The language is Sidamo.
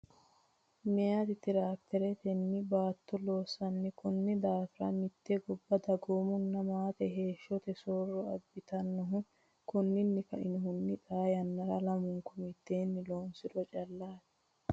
Meyati tiraakiteretenni baatto loossan Konni daafira mitte gobba dagoomunna maate heeshshote soorro abbitannohu Konninni kainohunni xaa yannara lamunku mitteenni loosiro callaati.